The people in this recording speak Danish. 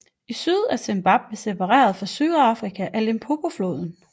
I syd er Zimbabwe separeret fra Sydafrika af Limpopofloden